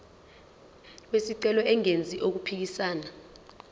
wesicelo engenzi okuphikisana